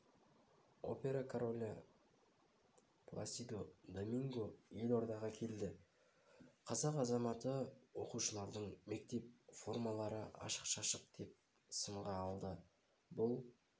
опера королі пласидо доминго елордаға келді қазақ азаматы оқушылардың мектеп формалары ашық-шашық деп сынға алды бұл